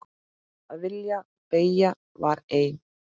Að vilji beggja var einn.